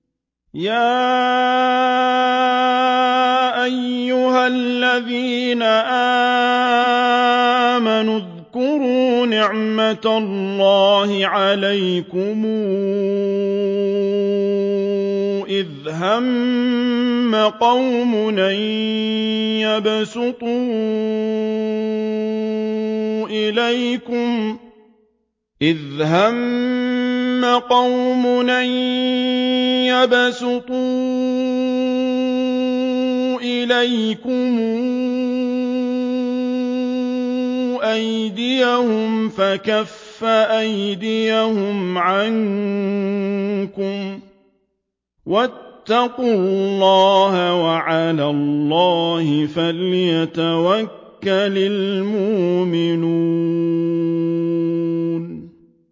يَا أَيُّهَا الَّذِينَ آمَنُوا اذْكُرُوا نِعْمَتَ اللَّهِ عَلَيْكُمْ إِذْ هَمَّ قَوْمٌ أَن يَبْسُطُوا إِلَيْكُمْ أَيْدِيَهُمْ فَكَفَّ أَيْدِيَهُمْ عَنكُمْ ۖ وَاتَّقُوا اللَّهَ ۚ وَعَلَى اللَّهِ فَلْيَتَوَكَّلِ الْمُؤْمِنُونَ